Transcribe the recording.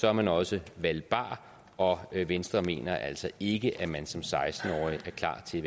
er man også valgbar og venstre mener altså ikke at man som seksten årig er klar til at